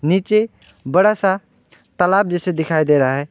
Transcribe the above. नीचे बड़ा सा तालाब जैसा दिखाई दे रहा है।